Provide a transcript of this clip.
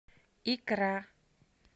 икра